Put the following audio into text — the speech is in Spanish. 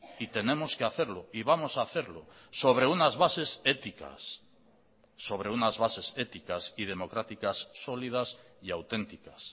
y tenemos que hacerlo y vamos a hacerlo sobre unas bases éticas sobre unas bases éticas y democráticas sólidas y auténticas